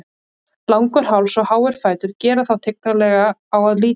Langur háls og háir fætur gera þá tignarlega á að líta.